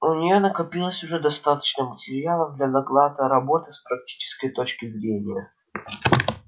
у неё накопилось уже достаточно материала для доклада роботы с практической точки зрения